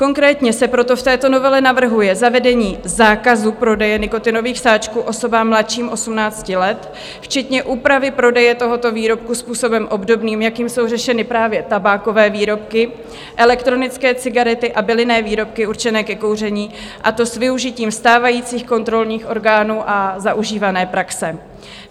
Konkrétně se proto v této novele navrhuje zavedení zákazu prodeje nikotinových sáčků osobám mladším 18 let, včetně úpravy prodeje tohoto výrobku způsobem obdobným, jakým jsou řešeny právě tabákové výrobky, elektronické cigarety a bylinné výrobky určené ke kouření, a to s využitím stávajících kontrolních orgánů a zaužívané praxe.